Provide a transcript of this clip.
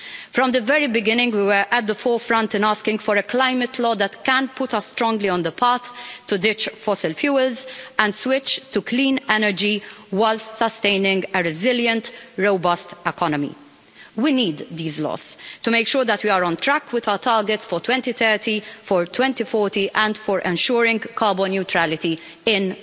From the very beginning we were at the forefront in asking for a climate law that can put us strongly on the path to ditch fossil fuels and switch to clean energy whilst sustaining a resilient, robust economy. We need these laws to make sure that we are on track with our targets for 2030, for 2040 and for ensuring carbon neutrality in